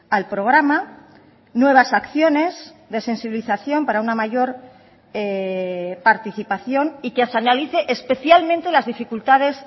al programa nuevas acciones de sensibilización para una mayor participación y que se analice especialmente las dificultades